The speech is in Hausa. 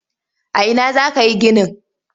A ina za ka yi ginin?